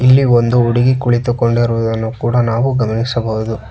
ಇಲ್ಲಿ ಒಂದು ಹುಡುಗಿ ಕುಳಿತಿರುಕೊಂಡರು ಅದನ್ನು ನಾವು ಗಮನಿಸಬಹುದು.